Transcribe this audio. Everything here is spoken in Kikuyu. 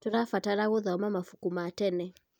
Tũrabatara gũthoma mabuku ma tene.